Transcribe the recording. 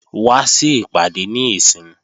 Wá sí ìpàdé níìsín!